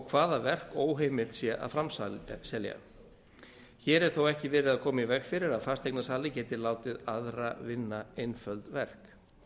hvaða verk óheimilt sé að framselja hér er þó ekki verið að koma í veg fyrir að fasteignasali geti látið aðra vinna einföld verk